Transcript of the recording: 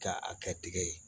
Ka a kɛ tigɛ ye